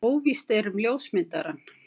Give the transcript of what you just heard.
Óvíst er um ljósmyndarann.